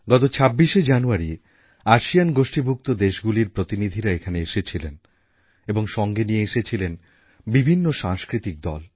গত ২৬শে জানুয়ারি আসিয়ান গোষ্ঠীভুক্ত দেশগুলির প্রতিনিধিরা এখানে এসেছিলেন এবং সঙ্গে নিয়ে এসেছিলেন বিভিন্ন সাংস্কৃতিক দল